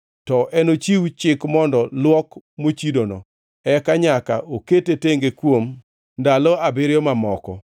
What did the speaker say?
to enochiw chik mondo luok mochidono. Eka nyaka okete tenge kuom ndalo abiriyo mamoko.